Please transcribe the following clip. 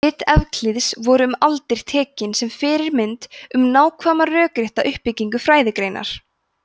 rit evklíðs voru um aldir tekin sem fyrirmynd um nákvæma rökrétta uppbyggingu fræðigreinar